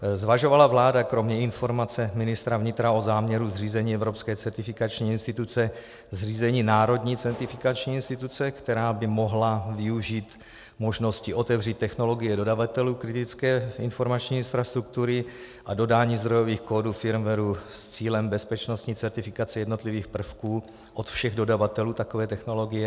Zvažovala vláda kromě informace ministra vnitra o záměru zřízení evropské certifikační instituce zřízení národní certifikační instituce, která by mohla využít možnosti otevřít technologie dodavatelů kritické informační infrastruktury a dodání zdrojových kódů firmwaru s cílem bezpečnostní certifikace jednotlivých prvků od všech dodavatelů takové technologie?